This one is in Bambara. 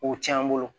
O cɛn an bolo